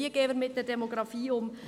Wie gehen wir mit der Demografie um?